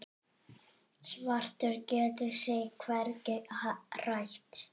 Svartur getur sig hvergi hrært.